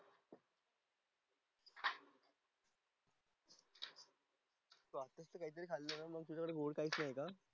तू काहीतरी खाल्लं नाही म्हणून तुला गोड खायचंय काय?